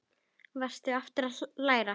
Hvað varstu aftur að læra?